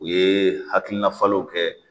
U ye hakila falenw kɛ